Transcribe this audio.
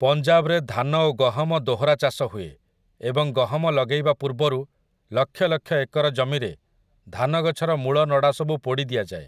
ପଞ୍ଜାବରେ ଧାନ ଓ ଗହମ ଦୋହରା ଚାଷ ହୁଏ, ଏବଂ ଗହମ ଲଗେଇବା ପୂର୍ବରୁ ଲକ୍ଷ ଲକ୍ଷ ଏକର ଜମିରେ ଧାନ ଗଛର ମୂଳ ନଡ଼ାସବୁ ପୋଡ଼ି ଦିଆଯାଏ ।